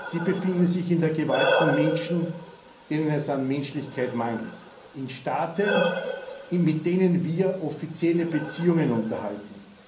Sie befinden sich in der Gewalt von Menschen, denen es an Menschlichkeit mangelt, in Staaten, mit denen wir offizielle Beziehungen unterhalten.